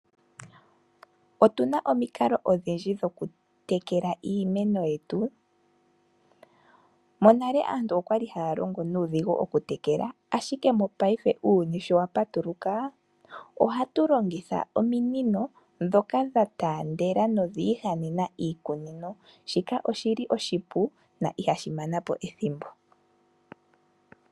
Otuna omikalo odhindji hatu longitha mokutekela iimeno yetu. Monale aantu oyali haya longo nuudhigu okutekela iimeno, monena uuyuni sho wapatuluka ohatu longitha ominino ndhoka dha taandela dhiihanena iikunino. Shika oshipu na ihashi mana po ethimbo.